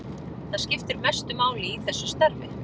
Það skiptir mestu máli í þessu starfi.